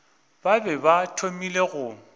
ba be ba thomile go